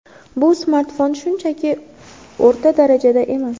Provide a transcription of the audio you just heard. Bu smartfon shunchaki o‘rta darajada emas.